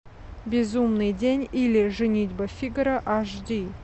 безумный день или женитьба фигаро аш ди